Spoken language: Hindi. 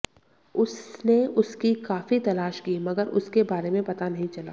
उसने उसकी काफी तलाश की मगर उसके बारे में पता नहीं चला